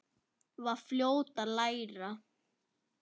Var fljót að læra.